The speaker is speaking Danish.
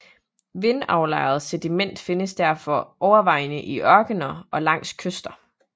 Vindaflejret sediment findes derfor overvejende i ørkener og langs kyster